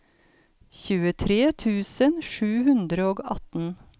tjuetre tusen sju hundre og atten